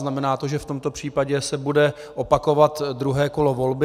Znamená to, že v tomto případě se bude opakovat druhé kolo volby.